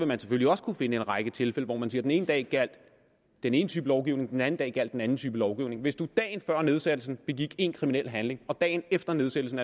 man selvfølgelig også kunne finde en række tilfælde hvor man sige at den ene dag gjaldt den ene type lovgivning og den anden dag gjaldt den anden type lovgivning hvis man dagen før nedsættelsen begik en kriminel handling og dagen efter nedsættelsen